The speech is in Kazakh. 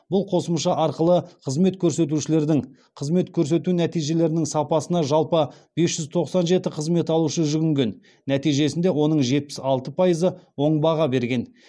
бұл қосымша арқылы қызмет берушілердің қызмет көрсету нәтижелерінің сапасына жалпы бес жүз тоқсан жеті қызмет алушы жүгінген нәтижесінде оның жетпіс алты пайызы оң баға берген